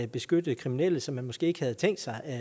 beskytte kriminelle som man måske ikke havde tænkt sig